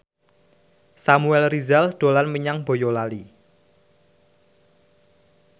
Samuel Rizal dolan menyang Boyolali